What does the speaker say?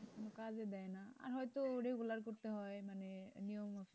কাজে দেয় না না আর হয়তো regular করতে মানে নিয়ম,